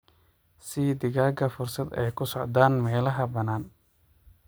Sii digaaga fursad ay ku socdaan meelaha bannaan.